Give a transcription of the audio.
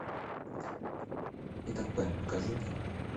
питер пэн покажи мне